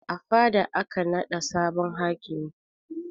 A fada aka naɗa sabon hakimi